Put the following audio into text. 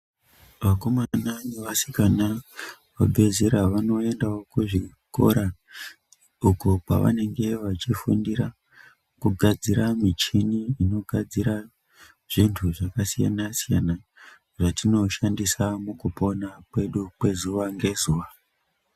Vakomana nevasikana vabve zera vanoendawo kuzvikora uku kwavanenge vachifundira kugadzira michini inogadzira zvintu zvakasiyana siyana zvatinoshandisa mukupona kwedu kwezuva ngezuva.